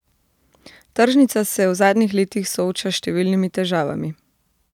Tržnica se v zadnjih letih sooča s številnimi težavami.